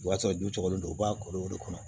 O b'a sɔrɔ dulen don u b'a koro o de kɔnɔ